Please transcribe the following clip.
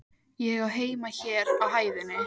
Ég á heima hér á hæðinni.